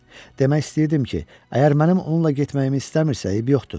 Demək istəyirdim ki, əgər mənim onunla getməyimi istəmirsə, eybi yoxdur.